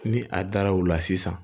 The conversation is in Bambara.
Ni a dara o la sisan